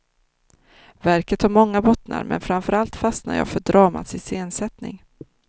Verket har många bottnar men framförallt fastnar jag för dramats iscensättning.